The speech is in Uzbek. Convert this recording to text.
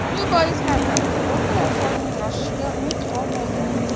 Shu boisdan ham kvotalar sonining oshishiga umid qolmagan.